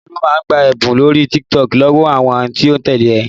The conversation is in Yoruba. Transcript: Olú máa ń gba ẹ̀bùn lórí TikTok lọ́wọ́ àwọn tí ó ń tẹ́lẹ̀ e